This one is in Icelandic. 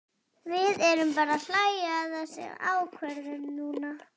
Við erum bara að hlæja að þessum ákvörðunum núna.